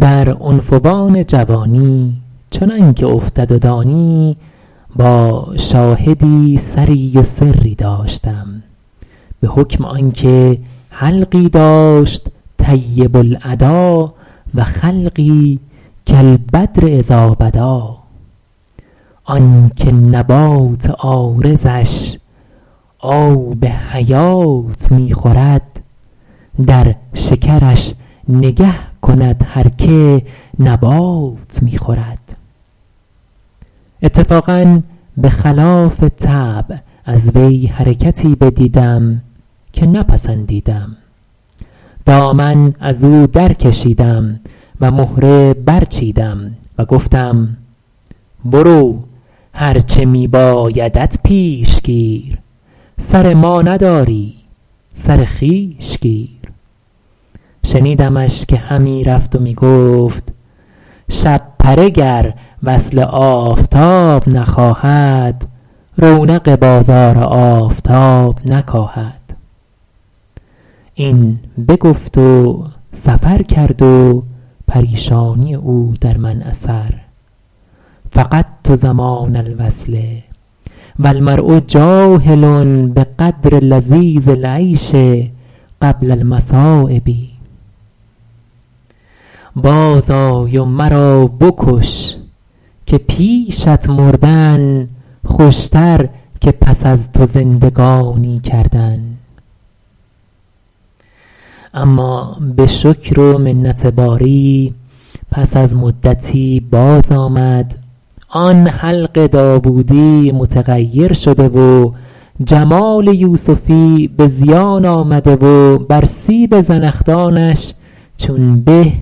در عنفوان جوانی چنان که افتد و دانی با شاهدی سری و سری داشتم به حکم آن که حلقی داشت طیب الادا و خلقی کالبدر إذٰا بدٰا آن که نبات عارضش آب حیات می خورد در شکرش نگه کند هر که نبات می خورد اتفاقا به خلاف طبع از وی حرکتی بدیدم که نپسندیدم دامن از او در کشیدم و مهره برچیدم و گفتم برو هر چه می بایدت پیش گیر سر ما نداری سر خویش گیر شنیدمش که همی رفت و می گفت شپره گر وصل آفتاب نخواهد رونق بازار آفتاب نکاهد این بگفت و سفر کرد و پریشانی او در من اثر فقدت زمان الوصل و المرء جاهل بقدر لذیذ العیش قبل المصٰایب باز آی و مرا بکش که پیشت مردن خوشتر که پس از تو زندگانی کردن اما به شکر و منت باری پس از مدتی باز آمد آن حلق داوودی متغیر شده و جمال یوسفی به زیان آمده و بر سیب زنخدانش چون به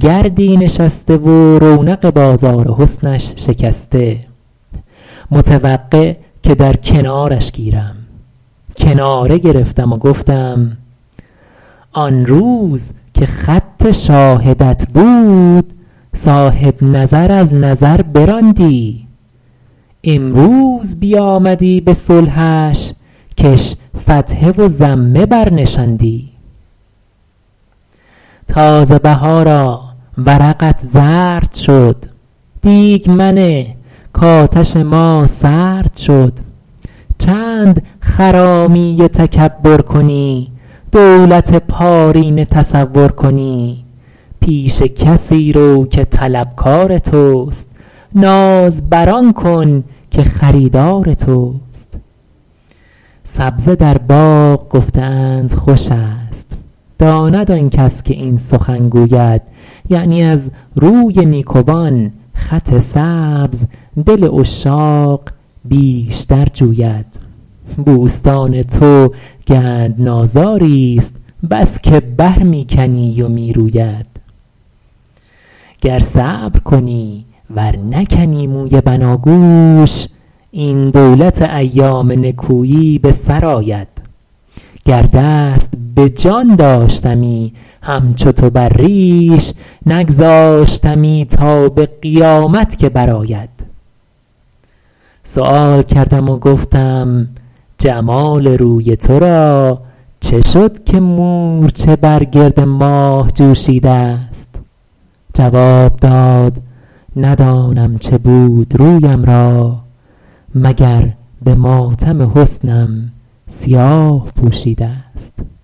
گردی نشسته و رونق بازار حسنش شکسته متوقع که در کنارش گیرم کناره گرفتم و گفتم آن روز که خط شاهدت بود صاحب نظر از نظر براندی امروز بیامدی به صلحش کش فتحه و ضمه بر نشاندی تازه بهارا ورقت زرد شد دیگ منه کآتش ما سرد شد چند خرامی و تکبر کنی دولت پارینه تصور کنی پیش کسی رو که طلبکار توست ناز بر آن کن که خریدار توست سبزه در باغ گفته اند خوش است داند آن کس که این سخن گوید یعنی از روی نیکوان خط سبز دل عشاق بیشتر جوید بوستان تو گندنازاری ست بس که بر می کنی و می روید گر صبر کنی ور نکنی موی بناگوش این دولت ایام نکویی به سر آید گر دست به جان داشتمی همچو تو بر ریش نگذاشتمی تا به قیامت که بر آید سؤال کردم و گفتم جمال روی تو را چه شد که مورچه بر گرد ماه جوشیده ست جواب داد ندانم چه بود رویم را مگر به ماتم حسنم سیاه پوشیده ست